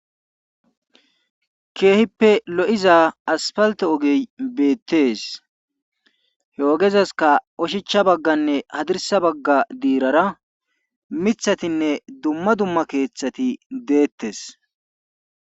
Keehippe lo7iza asfaltte ogey beettees he ogezaskka oshicha bagganne hadirssa diirara mithatinne dumma dumma keethati deettees.